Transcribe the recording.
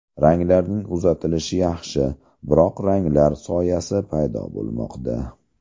Ranglarning uzatilishi yaxshi, biroq ranglar soyasi paydo bo‘lmoqda.